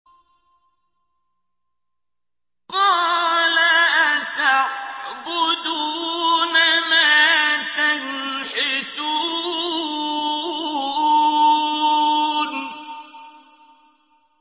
قَالَ أَتَعْبُدُونَ مَا تَنْحِتُونَ